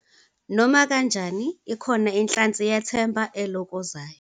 Nomakanjani, ikhona inhlansi yethemba elokozayo.